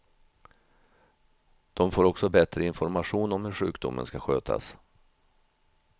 De får också bättre information om hur sjukdomen ska skötas.